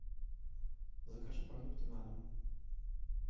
закажи продукты на дом